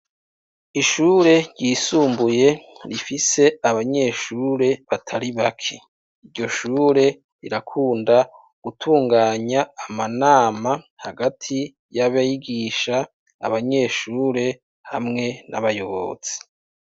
Ishure ryisumbuye rifise abanyeshure batari bake, iryo shure rirakunda gutunganya amanama hagati y'abegisha abanyeshure hamwe n'abayobozi.